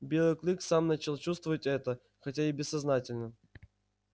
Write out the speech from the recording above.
белый клык сам начал чувствовать это хотя и бессознательно